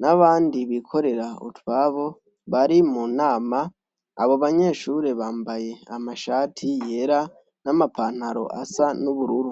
n'abandi bikorera utwabo bari mu nama. Abo banyeshure bambaye amashati yera n'amapantaro asa n'ubururu.